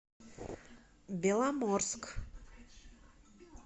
беломорск